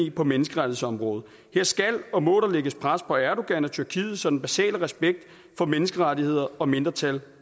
i på menneskerettighedsområdet her skal og må der lægges pres på erdogan og tyrkiet så den basale respekt for menneskerettigheder og mindretal